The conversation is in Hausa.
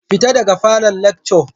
Fita daga falon lacco